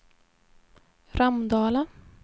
Ramdala